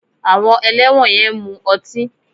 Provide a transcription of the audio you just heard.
Àwọn ẹlẹ́wọ̀n yẹn ń mu ọtí